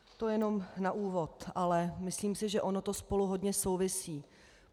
To jenom na úvod, ale myslím si, že ono to spolu hodně souvisí.